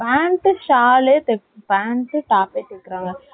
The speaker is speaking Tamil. pant , shawl தைப்போம். pant , top பே super ஆ தான் இருக்கும்.